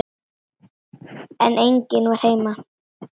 En enginn var heima.